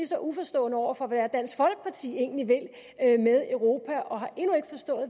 så uforstående over for hvad dansk folkeparti egentlig vil med europa og har endnu ikke forstået